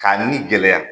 K'a ni gɛlɛya